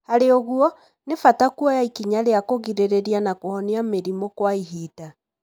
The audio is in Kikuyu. Harĩ ũguo, nĩ bata kuoya ikinya rĩa kũgirĩrĩria na kũhonia mĩrimũ kwa ihinda,